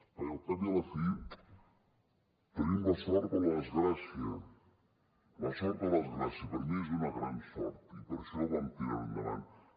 perquè al cap i a la fi tenim la sort o la desgràcia la sort o la desgràcia per mi és una gran sort i per això ho vam tirar endavant